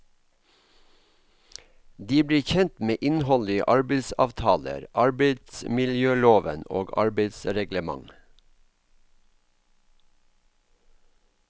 De blir kjent med innholdet i arbeidsavtaler, arbeidsmiljøloven og arbeidsreglement.